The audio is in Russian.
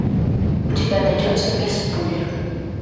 у тебя найдется мисс пуля